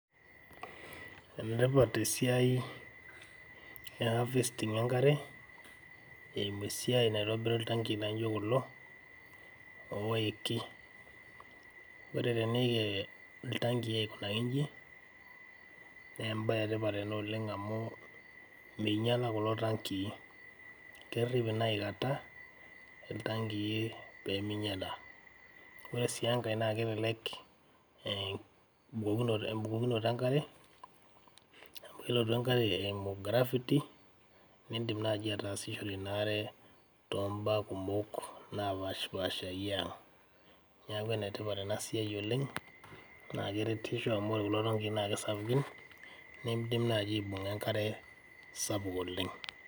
Enetipat esiai e harvesting enkare eimu esiai naitobiri intangii naijo kulo oiki, kore teneiki iltangii aikunaki inji naa embaye etipat ena oleng amuu meinyala kulo tangii, kerip ena ikata iltangii pemeinyala, kore sii enkae naa kelelek embukunoto enkare amu elotu enkare eimu gravity nindim enaaji ataasishore inaare to imbaa kumok napaashpaasha eyaa, naaku enetipat ena siaai oleng, naa keretisho amu ore kulo tangii naa kesapuki neidim naaji aibung'a inkare sapuk oleng.